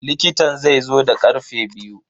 likitan zaizo da karfe biyu.